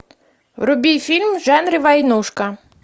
вруби фильм в жанре войнушка